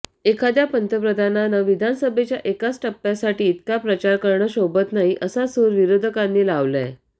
एखाद्या पंतप्रधानांनं विधानसभेच्या एकाच टप्प्यासाठी इतका प्रचार करणं शोभत नाही असा सूर विरोधकांनी लावलाय